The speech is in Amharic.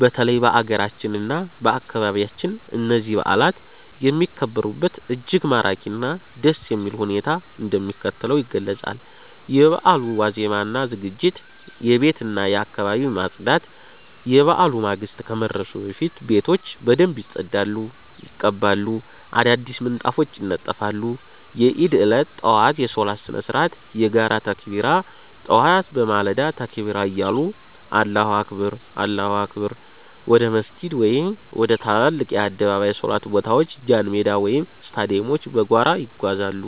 በተለይም በአገራችን እና በአካባቢያችን እነዚህ በዓላት የሚከበሩበት እጅግ ማራኪ እና ደስ የሚል ሁኔታ እንደሚከተለው ይገለጻል፦ የበዓሉ ዋዜማ እና ዝግጅት የቤትና የአካባቢ ማፅዳት፦ የበዓሉ ማግስት ከመድረሱ በፊት ቤቶች በደንብ ይጸዳሉ፣ ይቀባሉ፣ አዳዲስ ምንጣፎች ይነጠፋሉ። የዒድ ዕለት ጠዋት የሶላት ስነ-ስርዓት የጋራ ተክቢራ፦ ጠዋት በማለዳ ተክቢራ እያሉ አላሁ አክበር፣ አላሁ አክበር... ወደ መስጂድ ወይም ወደ ትላልቅ የአደባባይ ሶላት ቦታዎች ጃንሜዳ ወይም ስታዲየሞች በጋራ ይጓዛሉ።